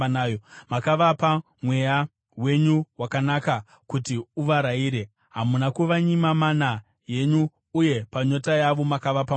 Makavapa Mweya wenyu wakanaka kuti uvarayire. Hamuna kuvanyima mana yenyu, uye panyota yavo makavapa mvura.